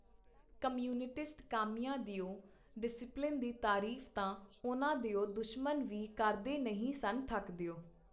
Communist ਕਾਮਿਆਂ ਦਿਓ discipline ਦੀ ਤਾਰੀਫ ਤਾਂ ਉਹਨਾਂ ਦਿਓ ਦੁਸ਼ਮਨ ਵੀ ਕਰਦੇ ਨਹੀਂ ਸਨ ਥੱਕਦਿਓ.